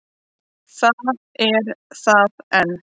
Það er það enn.